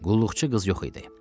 Qulluqçu qız yox idi.